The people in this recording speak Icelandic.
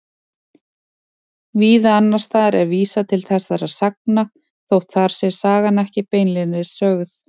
Víða annars staðar er vísað til þessara sagna þótt þar sé sagan ekki beinlínis sögð.